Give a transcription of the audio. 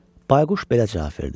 Bayquş belə cavab verdi: